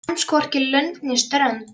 Kemst hvorki lönd né strönd.